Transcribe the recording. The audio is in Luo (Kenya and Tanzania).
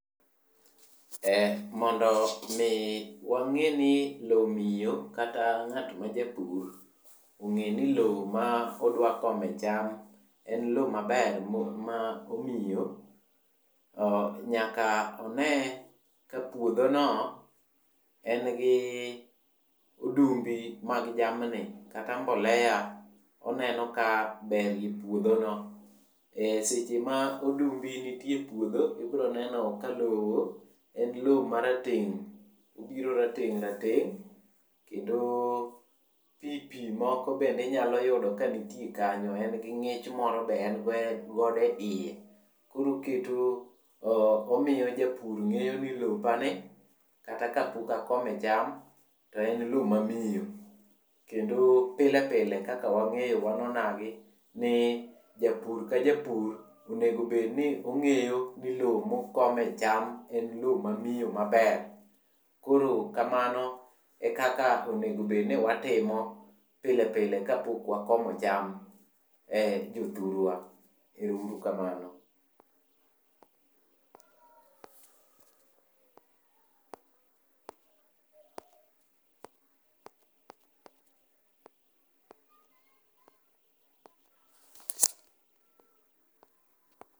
Mondo mi wang'eni lowo miyo kata ng'at majapur ong'eni lowo ma odwa kome cham en lowo maber kata ma miyo one ka puothono en gi odumbi mag jamni kata mbolea, onenoka be puothono, seche ma odumbi nitie e puothe ibiro neno ka lowo en lowo marateng',obiro rateng' rateng',kendo pi pi moko be inyalo yudo ka nitie kanyo, en gi ng'ich moro be en go e iye. Koro oketo, omiyo japur ng'eyo ni to be lopani kata ka akome cham to en lowo mamiyo, kendo pilepile kaka wang'eyo wan onagi ni japur ka japur onego obedni ong'eyo ni lowo mokome cham en lowo mamiyo maber. Koro kamano e kaka onego obed ni watimo pile pile kapok wakomo cham . Ero uru kamano.